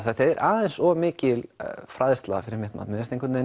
þetta er aðeins of mikil fræðsla fyrir mig mér finnst einhvern veginn